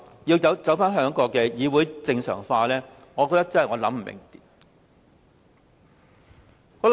所以，當他說要令議會正常化時，我真的想不通。